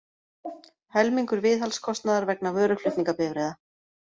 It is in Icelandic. Helmingur viðhaldskostnaðar vegna vöruflutningabifreiða